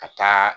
Ka taa